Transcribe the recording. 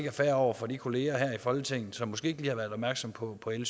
er fair over for de kolleger her i folketinget som måske ikke lige har været opmærksomme på på l